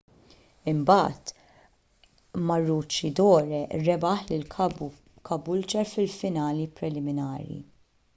imbagħad maroochydore rebaħ lil caboolture fil-finali preliminari